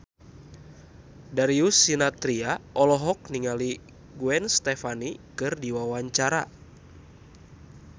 Darius Sinathrya olohok ningali Gwen Stefani keur diwawancara